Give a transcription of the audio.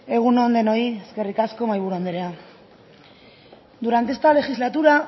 egun on denoi eskerrik asko mahaiburu anderea durante esta legislatura